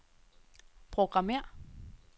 programmér